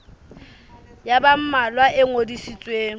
ya ba mmalwa e ngodisitsweng